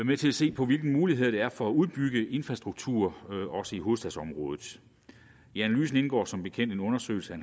med til at se på hvilke muligheder der er for at udbygge infrastruktur også i hovedstadsområdet i analyserne indgår som bekendt en undersøgelse af